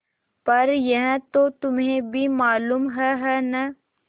पर यह तो तुम्हें भी मालूम है है न